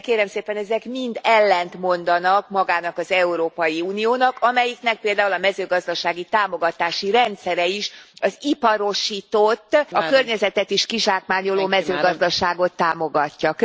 De kérem szépen, ezek mind ellentmondanak magának az Európai Uniónak, amelyiknek például a mezőgazdasági támogatási rendszere is az iparosított, a környezetet is kizsákmányoló mezőgazdaságot támogatja.